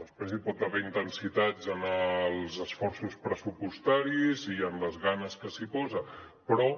després hi pot haver intensitat en els esforços pressupostaris i en les ganes que s’hi posen però